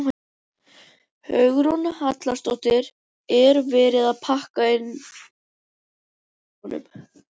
Hugrún Halldórsdóttir: Er verið að pakka inn síðustu gjöfunum?